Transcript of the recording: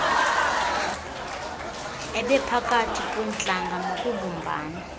ebiphakathi kweentlanga nokubumbana